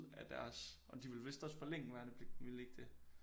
Af deres og de ville måske også forlænge værnepligten ville de ikke det